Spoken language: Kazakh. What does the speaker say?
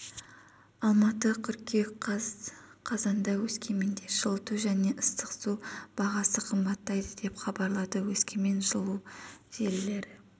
алматы қыркүйек қаз қазанда өскеменда жылыту және ыстық су бағасы қымбаттайды деп хабарлады өскемен жылу желілері